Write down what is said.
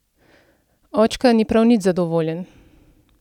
Očka ni prav nič zadovoljen!